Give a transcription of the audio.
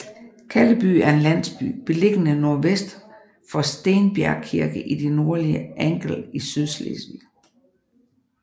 Kalleby er en landsby beliggende nordvest for Stenbjergkirke i det nordlige Angel i Sydslesvig